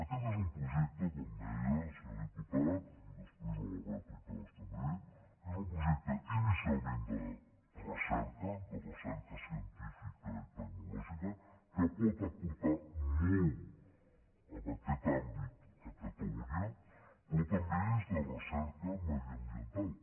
aquest és un projecte com deia senyor diputat i després en la rèplica m’hi estendré inicialment de recerca de recerca científica i tecnològica que pot aportar molt en aquest àmbit a catalunya però també és de recerca mediambiental